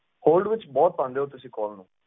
Hold ਵਿੱਚ ਬਹੁਤ ਪਾਉਂਦੇ ਹੋ ਤੁਸੀਂ call ਨੂੰ।